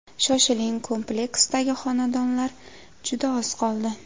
Shoshiling, kompleksdagi xonadonlar juda oz qoldi.